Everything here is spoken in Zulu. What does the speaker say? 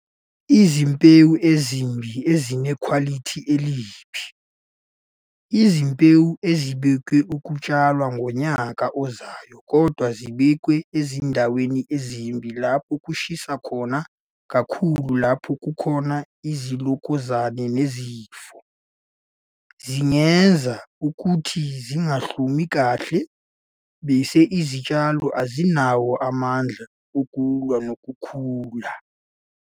Izimbewu ezimbi ezinekhwalithi elibi, izimbewu ezibekwe ukutshala ngonyaka ozayo kodwa zibekwe ezindaweni ezimbi lapho kushisa khona kakhulu nalapho kukhona izilokazana nezifo, zingenza ukuthi zingahlumi kahle bese izitshalo azinawo amandla ukulwa nokhula.